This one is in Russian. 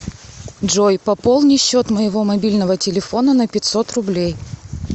джой пополни счет моего мобильного телефона на пятьсот рублей